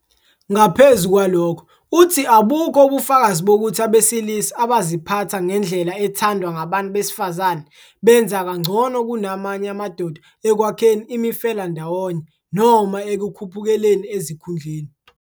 Ngaphezu kwalokho, uthi abukho ubufakazi bokuthi abesilisa abaziphatha ngendlela ethandwa ngabantu besifazane benza kangcono kunamanye amadoda ekwakheni imifelandawonye noma ekukhuphukeleni ezikhundleni.